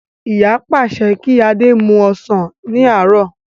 Ìyá pàṣẹ kí adé mú ọsàn ní àárọ̀